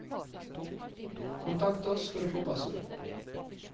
Kontakt oss for å få passord.